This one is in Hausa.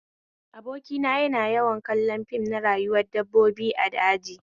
Abokina yana yawan kallon fim na rayuwar dabbobi a daji